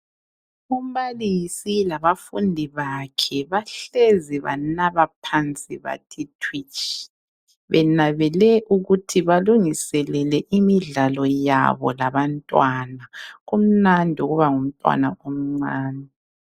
Umbalisi labafundi bakhe bahlezi banaba phansi bathi thwitshi benabele ukuthi balungiselele imidlalo yabo labantwana kumnandi ukuba ngumtwana omncane.